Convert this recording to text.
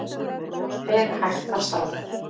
Fer hægt af stað